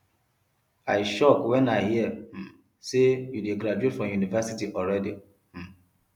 i shock wen i hear um say you dey graduate from university already um